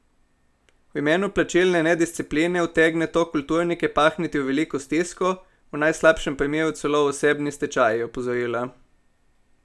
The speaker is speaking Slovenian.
V primeru plačilne nediscipline utegne to kulturnike pahniti v veliko stisko, v najslabšem primeru celo v osebni stečaj, je opozorila.